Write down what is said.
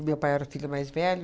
O meu pai era o filho mais velho.